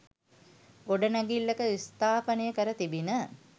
ගොඩනැගිල්ලක ස්ථාපනය කර තිබිණ.